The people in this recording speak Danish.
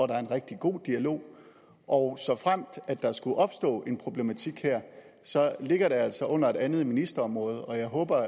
der er en rigtig god dialog og såfremt der skulle opstå en problematik her ligger den altså under et andet ministerområde og jeg håber